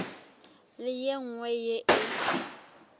le ye nngwe ye e